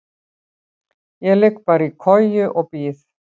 Ég ligg bara í koju og bíð.